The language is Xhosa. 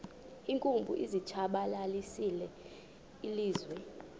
iinkumbi zilitshabalalisile ilizwe